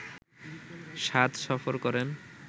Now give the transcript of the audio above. শাদ সফর করেন